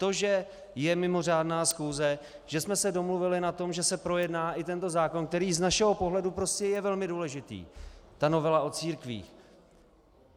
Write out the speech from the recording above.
To, že je mimořádná schůze, že jsme se domluvili na tom, že se projedná i tento zákon, který z našeho pohledu prostě je velmi důležitý, ta novela o církvích.